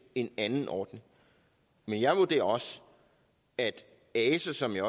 en anden ordning men jeg vurderer også at ase som jeg